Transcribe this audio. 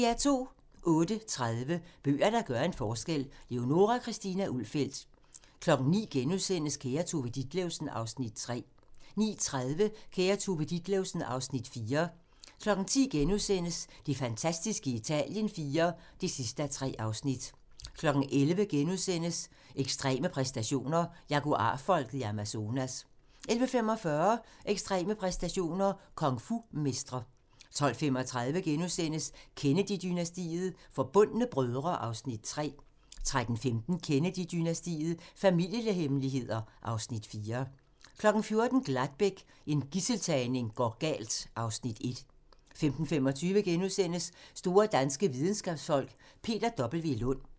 08:30: Bøger, der gør en forskel – Leonora Christina Ulfeldt 09:00: Kære Tove Ditlevsen (Afs. 3)* 09:30: Kære Tove Ditlevsen (Afs. 4) 10:00: Det fantastiske Italien IV (3:3)* 11:00: Ekstreme præstationer: Jaguar-folket i Amazonas * 11:45: Ekstreme præstationer: Kung fu-mestre 12:35: Kennedy-dynastiet - Forbundne brødre (Afs. 3)* 13:15: Kennedy-dynastiet - Familiehemmeligheder (Afs. 4) 14:00: Gladbeck – en gidseltagning går galt (Afs. 1) 15:25: Store danske videnskabsfolk: Peter W. Lund *